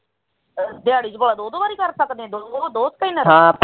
ਦਿਹਾੜੀ ਚ ਦੋ ਵਾਰ ਕਰ ਸਕਦੇ ਤੇਰੇ ਕੋਲ ਦੋ ਸਕੈਨਰ ਐ ਹਾਂ